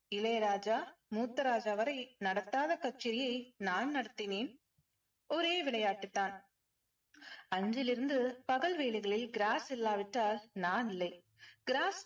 இளையராஜா மூத்த ராஜா வரை நடத்தாத கச்சேரியை நான் நடத்தினேன். ஒரே விளையாட்டு தான் அன்றிலிருந்து பகல் வேலைகளில் gross இல்லாவிட்டால் நான் இல்லை. gross